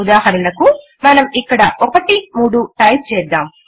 ఉదాహరణకు మనం ఇక్కడ 1 3 టైపు చేద్దాం